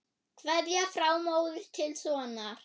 Kveðja frá móður til sonar.